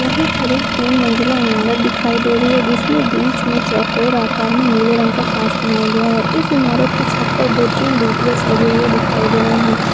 यहा पर एक तीन मंजिला इमारत दिखाई दे रही है जिसमे बिच मे चोकोर आकार मे नीले रंग का कांच बनाया गया है इस इमारत की छत पर दो तीन डी_टी_एच लगे हुए दिखाई दे रहे है।